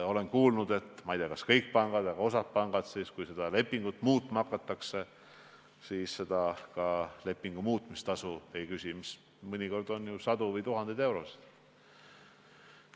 Olen kuulnud – ma ei tea, kas seda võimaldavad kõik pangad, aga osad pangad küll –, et siis, kui seda lepingut muutma hakatakse, ei küsita ka lepingu muutmise tasu, mis mõnikord on ju sadu või tuhandeid eurosid.